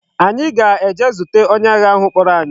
Anyi ga-eje zute onye agha ahu kporo anyi